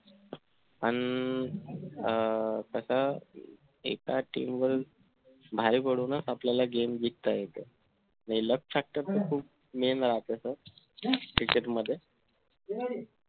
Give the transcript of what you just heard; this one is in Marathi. अन अं कसं एका team वरून भारी पडूनच आपल्या game जिकंता येतो हे luck factor तर खूप cricket मध्ये